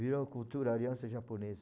Virou cultura, aliança japonesa.